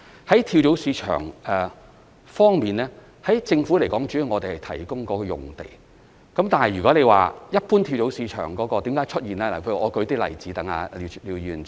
在跳蚤市場方面，政府主要是提供用地，但說到一般跳蚤市場為何會出現，我想舉一些例子讓廖議員知道。